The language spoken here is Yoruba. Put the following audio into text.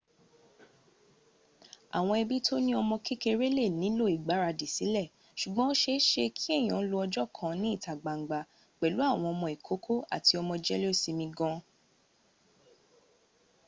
awon ebi to ni omo kekere le nilo igbaradi si sugbon o seese ki eyan lo ojo kan ni ita gbangba pelu awon omo ikoko ati omo jelesimi gaan